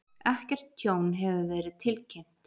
Ekkert tjón hefur verið tilkynnt